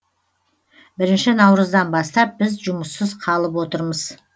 бірінші наурыздан бастап біз жұмыссыз қалып отырмыз